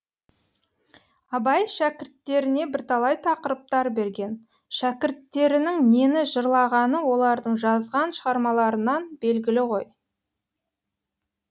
абай шәкірттеріне бірталай тақырыптар берген шәкірттерінің нені жырлағаны олардың жазған шығармаларынан белгілі ғой